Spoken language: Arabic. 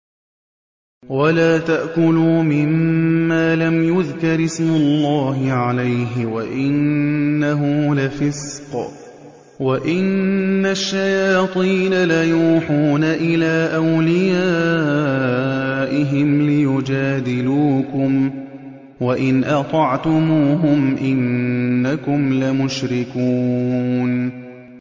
وَلَا تَأْكُلُوا مِمَّا لَمْ يُذْكَرِ اسْمُ اللَّهِ عَلَيْهِ وَإِنَّهُ لَفِسْقٌ ۗ وَإِنَّ الشَّيَاطِينَ لَيُوحُونَ إِلَىٰ أَوْلِيَائِهِمْ لِيُجَادِلُوكُمْ ۖ وَإِنْ أَطَعْتُمُوهُمْ إِنَّكُمْ لَمُشْرِكُونَ